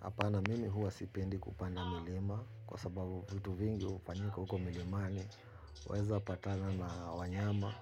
Hapana mimi huwa sipendi kupanda milima kwa sababu vitu vingi hufanyika huko milimani. Weza patana na wanyama.